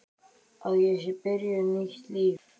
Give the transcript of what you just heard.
Að ég sé byrjuð nýtt líf.